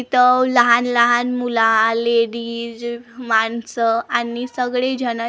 इथं लहान लहान मुलं आले डिज माणसं आणि सगळी झनज उ--